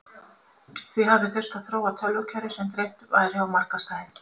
Því hafi þurft að þróa tölvukerfi sem dreift væri á marga staði.